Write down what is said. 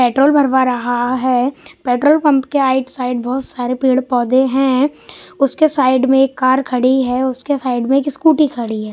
petrol भरवा रहा है पेट्रोल पंप के आइट साइड बहुत सारे पेड़ पौधे हैं उसके साइड में एक कार खड़ी है उसके साइड में एक स्कूटी खड़ी है --